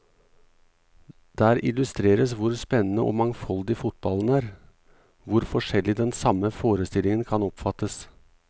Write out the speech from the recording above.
Der illustreres hvor spennende og mangfoldig fotballen er, hvor forskjellig den samme forestillingen kan oppfattes.